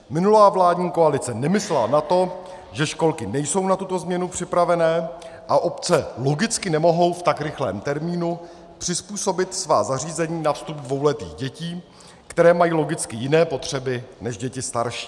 Minulá vládní koalice nemyslela na to, že školky nejsou na tuto změnu připravené a obce logicky nemohou v tak rychlém termínu přizpůsobit svá zařízení na vstup dvouletých dětí, které mají logicky jiné potřeby než děti starší.